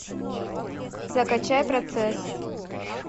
закачай процесс